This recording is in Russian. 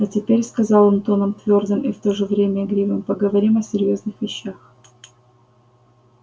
а теперь сказал он тоном твёрдым и в то же время игривым поговорим о серьёзных вещах